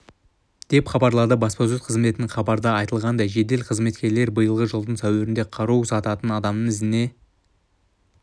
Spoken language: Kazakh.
деп хабарлады баспасөз қызметінен хабарда айтылғандай жедел қызметкерлер биылғы жылдың сәуірінде қару сататын адамның ізіне